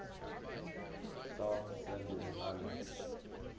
south sandwich islands